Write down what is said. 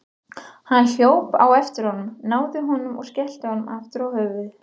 Hann hljóp á eftir honum, náði honum og skellti honum aftur á höfuðið.